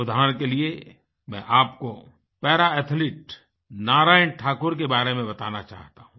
उदाहरण के लिए मैं आपको पारा एथलीट नारायण ठाकुर के बारे में बताना चाहता हूँ